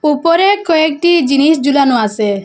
উপরে কয়েকটি জিনিস ঝুলানো আসে।